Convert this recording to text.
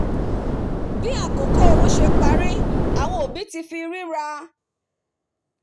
bí àkókò oru sé parí áwọn òbí ti fi ríra